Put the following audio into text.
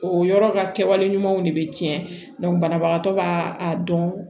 O yɔrɔ ka kɛwale ɲumanw de bɛ tiɲɛ banabagatɔ ka a dɔn